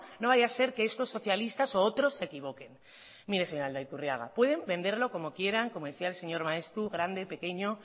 no vaya a ser que estos socialistas o otros se equivoquen mire señor aldaiturriaga pueden venderlo como quieran como decía el señor maeztu grande pequeño